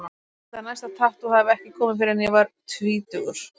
Ég held að næsta tattú hafi ekki komið fyrr en ég var tvítugur.